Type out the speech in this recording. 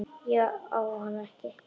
Ég á hana ekki.